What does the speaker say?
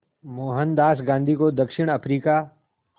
मोहनदास गांधी को दक्षिण अफ्रीका